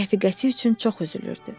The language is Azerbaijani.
Rəfiqəsi üçün çox üzülürdü.